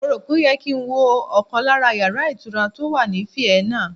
Mo rò pé ó yẹ kí n wo ọkàn lára yàrá ìtura tó wà ní Vienna